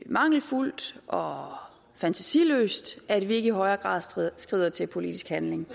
mangelfuldt og fantasiløst at vi ikke i højere grad skrider til politisk handling